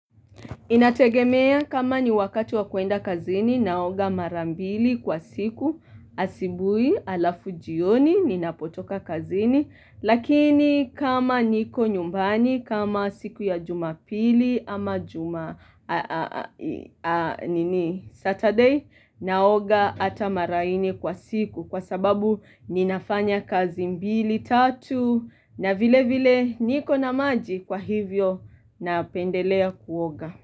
Inategemea kama ni Makati wa kwenda kazini naoga mara mbili kwa siku asubui alafu jioni ninapotoka kazini lakini kama niko nyumbani kama siku ya jumapili ama juma Saturday naoga hata maraini kwa siku kwa sababu ninafanya kazi mbili tatu na vile vile niko na maji kwa hivyo na pendelea kuoga.